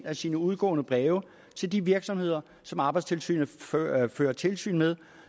af sine udgående breve til de virksomheder som arbejdstilsynet fører fører tilsyn med